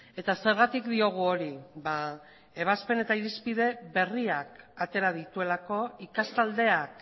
eta zergatik diogu hori ebazpen eta irizpide berriak atera dituelako ikastaldeak